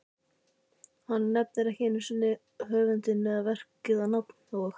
Hann nefnir ekki einusinni höfundinn eða verkið á nafn og